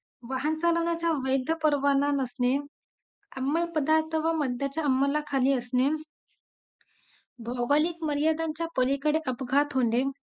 non veg आणि veg मध्ये काय फरक असते.